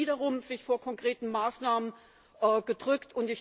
Es wird wiederum sich vor konkreten Maßnahmen gedrückt.